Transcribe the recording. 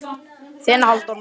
Þinn Halldór Már.